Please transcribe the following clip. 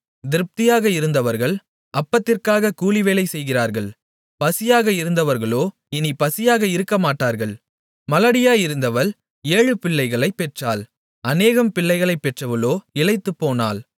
திருப்தியாக இருந்தவர்கள் அப்பத்திற்காக கூலிவேலை செய்கிறார்கள் பசியாக இருந்தவர்களோ இனிப் பசியாக இருக்கமாட்டார்கள் மலடியாயிருந்தவள் ஏழு பிள்ளைகளை பெற்றாள் அநேகம் பிள்ளைகளைப் பெற்றவளோ இளைத்துப்போனாள்